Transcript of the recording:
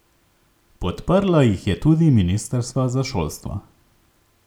Podprlo jih je tudi ministrstvo za šolstvo.